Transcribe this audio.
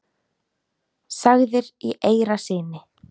sagðir í eyra syni.